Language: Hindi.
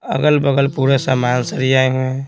अगल-बगल पूरे सामान सरी आए हैं।